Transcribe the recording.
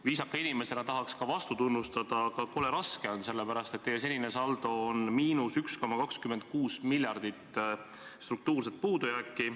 Viisaka inimesena tahaks teid ka vastu tunnustada, aga kole raske on, sellepärast, et senine saldo on miinus 1,26 miljardit struktuurset puudujääki.